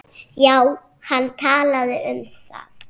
Alkóhól magn hennar var.